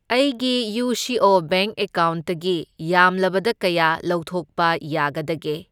ꯑꯩꯒꯤ U C O bank ꯑꯦꯀꯥꯎꯟꯇꯒꯤ ꯌꯥꯝꯂꯕꯗ ꯀꯌꯥ ꯂꯧꯊꯣꯛꯄ ꯌꯥꯒꯗꯒꯦ?